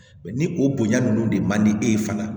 ni o bonya ninnu de man di e ye fana